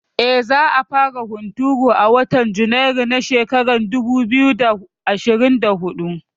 Eh, za a fara hunturu a watan Junairu na shekara dubu biyu da ashirin da huɗu